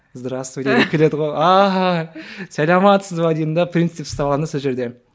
здравствуйте деп келеді ғой ааа сәлеметсіз бе деймін де принцип ұстап аламын да сол жерде